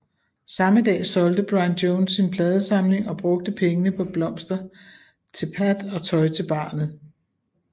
Samme dag solgte Brian Jones sin pladesamling og brugte pengene på blomster til Pat og tøj til barnet